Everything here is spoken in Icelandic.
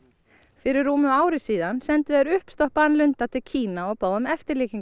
fyrir rúmu ári sendu þeir uppstoppaðan lunda til Kína og báðu um eftirlíkingu